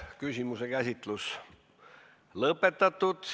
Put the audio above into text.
Küsimuse käsitlus on lõppenud.